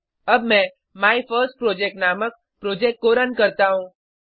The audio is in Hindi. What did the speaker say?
अब मैं माइफर्स्टप्रोजेक्ट नामक प्रोजेक्ट को रुन करता हूँ